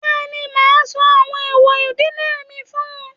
Bẹ́ẹ̀ni, màá sọ àwọn ẹ̀èwọ̀ ìdílé mi fún-un.